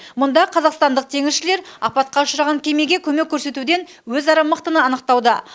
мұнда қазақстандық теңізшілер апатқа ұшыраған кемеге көмек көрсетуден өзара мықтыны анықтауда